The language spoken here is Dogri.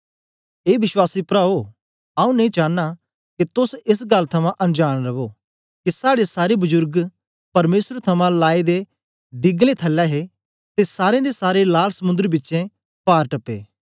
ए विश्वासी प्राओ आऊँ नेई चानां के तोस एस गल्ल थमां अन जांन रवो के साड़े सारे बजुर्ग परमेसर थमां लाए दे डीगलें थलै हे ते सारें दे सारे लाल समुंदर बिचें पार टपे